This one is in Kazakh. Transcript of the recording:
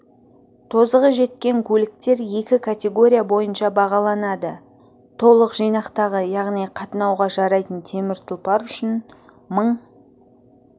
тозығы жеткен көліктер екі категория бойынша бағаланады толық жинақтағы яғни қатынауға жарайтын темір тұлпар үшін мың